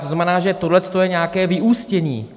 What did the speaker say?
To znamená, že tohle je nějaké vyústění.